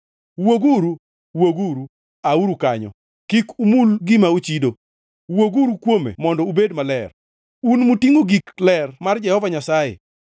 Wuoguru, wuoguru, auru kanyo! Kik umul gima ochido! Wuoguru kuome mondo ubed maler, un mutingʼo gik ler mar Jehova Nyasaye.